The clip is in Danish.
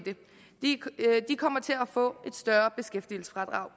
de kommer til at få et større beskæftigelsesfradrag